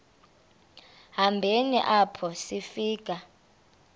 hambeni apho sifika